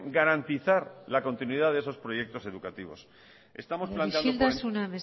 garantizar la continuidad de esos proyectos educativos isiltasuna